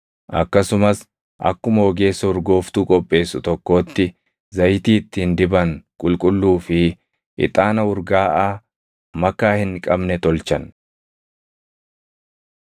Akkasumas akkuma ogeessa urgooftuu qopheessu tokkootti zayitii ittiin diban qulqulluu fi ixaana urgaaʼaa makaa hin qabne tolchan.